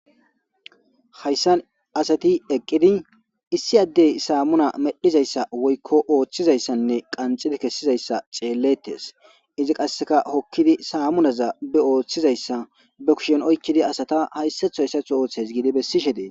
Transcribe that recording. Hayssan asati eqqidi issi adde saamuna medhidayssa wokko oochizayssa qanxxidi kessizayssa xeeletees. Qassekka hokkidi samunaza be7o wothizayssa be kushen oykkidi asata hayssato hayssato ooothays gidi besishe des.